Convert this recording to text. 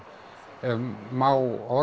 ef má orða